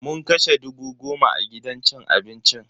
Mun kashe dubu goma a gidan cin abincin.